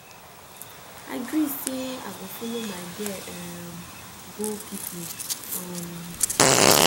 i gree say i go follow my girl um go picnic um